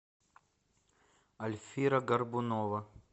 альфира горбунова